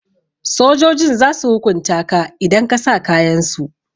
Sojojin zasu hukunta ka idan ka sa kayansu.